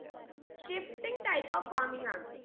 shifting type of farming ആണ്